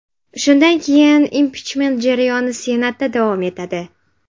Shundan keyin impichment jarayoni Senatda davom etadi.